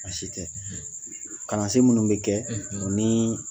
Baasi tɛ kalansen minnu bɛ kɛ ani